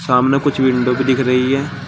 सामने कुछ विंडो दिख रही है।